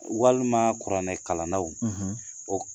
Walima kuranɛ kalanlaw . O